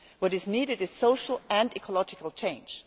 What is needed is social and ecological change